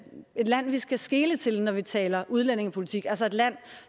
land vi skal skele til når vi taler udlændingepolitik altså et land